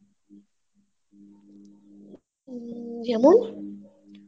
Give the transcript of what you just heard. উম যেমন